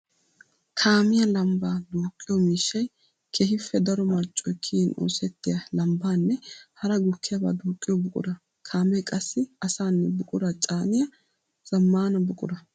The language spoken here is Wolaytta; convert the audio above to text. Kaamiya lambba duuqqiyo miishshay keehippe daro marccoy kiyin oosettiya lambbanne hara gukkiyaba duuqiyo buqura. Kaame qassi asanne buqura caaniya zamaana buqura.